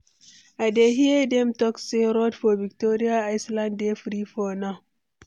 I dey hear dem talk say road for Victoria Island dey free for now.